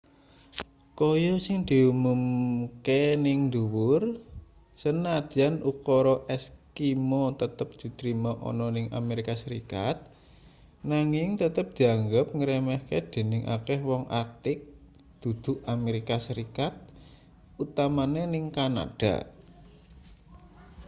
kaya sing diumumke ning ndhuwur sanadyan ukara eskimo tetep ditrima ana ning amerika serikat nanging tetep dianggep ngremehke dening akeh woong arktik dudu-amerika serikat utamane ning kanada